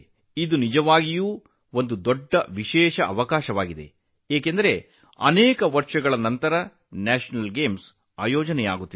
ಇದು ಬಹಳ ವಿಶೇಷವಾದ ಸಂದರ್ಭ ಏಕೆಂದರೆ ಹಲವು ವರ್ಷಗಳ ನಂತರ ರಾಷ್ಟ್ರೀಯ ಕ್ರೀಡಾಕೂಟವನ್ನು ಆಯೋಜಿಸಲಾಗುತ್ತಿದೆ